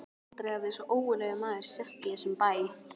Aldrei hafði svo ógurlegur maður sést í þessum bæ.